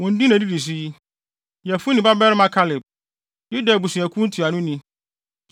“Wɔn din na edidi so yi: “Yefune babarima Kaleb, Yuda abusuakuw ntuanoni;